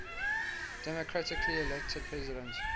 democratically elected president